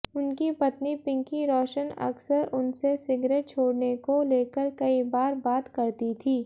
उनकी पत्नी पिंकी रोशन अक्सर उनसे सिगरेट छोड़ने को लेकर कई बार बात करती थी